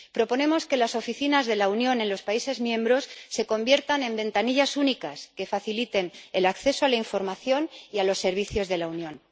Proponemos que las oficinas de la Unión en los países miembros se conviertan en ventanillas únicas que faciliten el acceso a la información y a los servicios de la Unión.